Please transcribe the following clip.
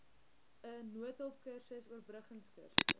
n noodhulpkursus oorbruggingkursusse